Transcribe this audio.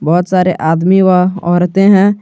बहुत सारे आदमी व औरतें हैं।